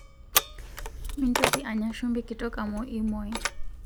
Mintoki anya shumbi kitok amu imwai